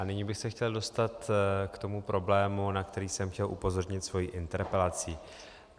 A nyní bych se chtěl dostat k tomu problému, na který jsem chtěl upozornit svou interpelací.